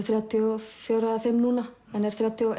þrjátíu og fjögurra og fimm núna en er þrjátíu og